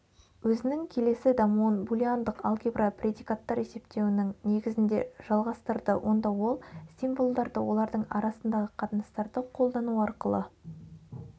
өзінің келесі дамуын булеандық алгебра предикаттар есептеуінің негізінде жалғастырды онда ол символдарды олардың арасындағы қатынастарды қолдану арқылы